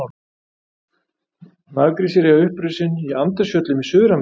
Naggrísir eiga uppruna sinn í Andesfjöllum í Suður-Ameríku.